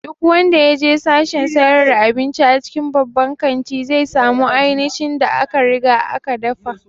Duk wanda ya je sashen sayar da abinci a cikin babban kanti, zai samu aincin da aka riga aka dafa